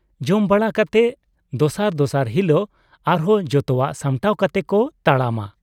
ᱡᱚᱢ ᱵᱟᱲᱟ ᱠᱟᱛᱮ ᱫᱚᱥᱟᱨ ᱫᱚᱥᱟᱨ ᱦᱤᱞᱳᱜ ᱟᱨᱦᱚᱸ ᱡᱚᱛᱚᱣᱟᱜ ᱥᱟᱢᱴᱟᱣ ᱠᱟᱛᱮ ᱠᱚ ᱛᱟᱲᱟᱢᱟ ᱾